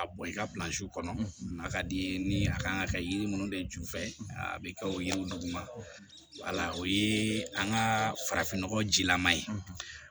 A bɔ i ka kɔnɔ a ka di i ye ni a kan ka kɛ yiri minnu bɛ ju fɛ a bɛ kɛ o yiri duguma o ye an ka farafin nɔgɔjilama ye